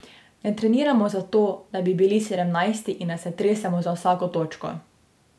Ne treniramo zato, da bi bili sedemnajsti in da se tresemo za vsako točko.